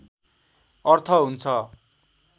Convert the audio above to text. अर्थ हुन्छ